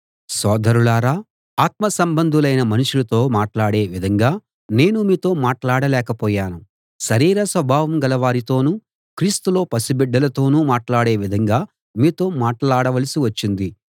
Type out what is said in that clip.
సోదరులారా ఆత్మసంబంధులైన మనుషులతో మాట్లాడే విధంగా నేను మీతో మాట్లాడ లేకపోయాను శరీర స్వభావం గలవారితోనూ క్రీస్తులో పసిబిడ్డలతోనూ మాట్లాడే విధంగా మీతో మాట్లాడవలసి వచ్చింది